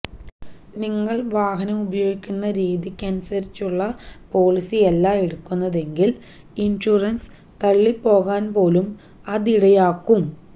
നിങ്ങള് വാഹനമുപയോഗിക്കുന്ന രീതിയ്ക്കനുസരിച്ചുള്ള പോളിസിയല്ല എടുത്തിട്ടുള്ളതെങ്കില് ഇന്ഷുറന്സ് തള്ളിപ്പോകാന്പോലും അതിടയാക്കും